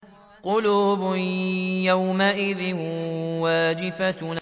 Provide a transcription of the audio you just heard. قُلُوبٌ يَوْمَئِذٍ وَاجِفَةٌ